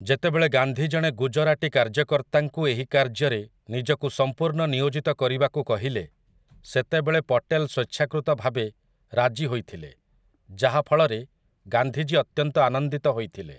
ଯେତେବେଳେ ଗାନ୍ଧୀ ଜଣେ ଗୁଜରାଟୀ କାର୍ଯ୍ୟକର୍ତ୍ତାଙ୍କୁ ଏହି କାର୍ଯ୍ୟରେ ନିଜକୁ ସମ୍ପୂର୍ଣ୍ଣ ନିୟୋଜିତ କରିବାକୁ କହିଲେ, ସେତେବେଳେ ପଟେଲ ସ୍ୱେଚ୍ଛାକୃତ ଭାବେ ରାଜି ହୋଇଥିଲେ ଯାହାଫଳରେ ଗାନ୍ଧୀଜୀ ଅତ୍ୟନ୍ତ ଆନନ୍ଦିତ ହୋଇଥିଲେ ।